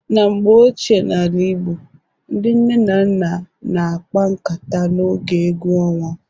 Na mgbe ochie n'ala igbo, ndi nne na nna na-akpa nkata n'oge egwu ọnwa.